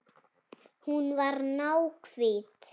Hún var náhvít.